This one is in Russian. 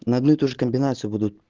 на одну и ту же комбинацию буду